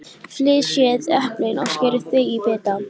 Flysjið eplin og skerið þau í bita.